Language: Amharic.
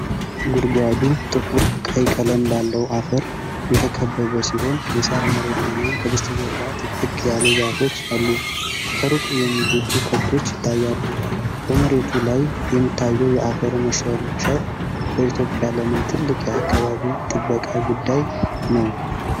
ጉድጓዱ ጥቁር ቀይ ቀለም ባለው አፈር የተከበበ ሲሆን የሣር መሬትና ከበስተጀርባ ጥቅጥቅ ያሉ ዛፎች አሉ። ከሩቅ የሚግጡ ከብቶች ይታያሉ። በመሬቱ ላይ የሚታየው የአፈር መሸርሸር በኢትዮጵያ ለምን ትልቅ የአካባቢ ጥበቃ ጉዳይ ነው?